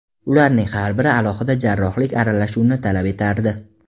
Ularning har biri alohida jarrohlik aralashuvini talab etardi.